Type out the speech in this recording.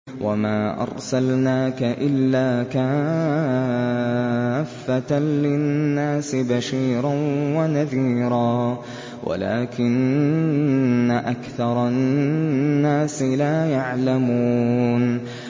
وَمَا أَرْسَلْنَاكَ إِلَّا كَافَّةً لِّلنَّاسِ بَشِيرًا وَنَذِيرًا وَلَٰكِنَّ أَكْثَرَ النَّاسِ لَا يَعْلَمُونَ